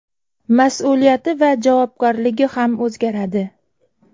Mas’uliyati va javobgarligi ham o‘zgaradi.